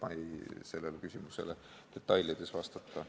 Ma ei oska sellele küsimusele detailselt vastata.